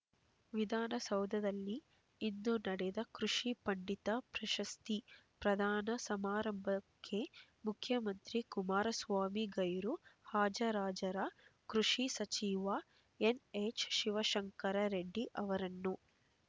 ವಿಧಾನ ಸೌಧದಲ್ಲಿ ಇಂದು ನಡೆದ ಕೃಷಿ ಪಂಡಿತ ಪ್ರಶಸ್ತಿ ಪ್ರದಾನ ಸಮಾರಂಭಕ್ಕೆ ಮುಖ್ಯಮಂತ್ರಿ ಕುಮಾರ ಸ್ವಾಮಿ ಗೈರು ಹಾಜರಾಜರ ಕೃಷಿ ಸಚಿವ ಎನ್ಹೆಚ್ ಶಿವಶಂಕರ ರೆಡ್ಡಿ ಅವರನ್ನು